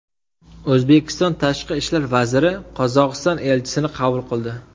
O‘zbekiston Tashqi ishlar vaziri Qozog‘iston elchisini qabul qildi.